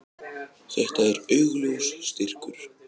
Þetta er augljós styrkur.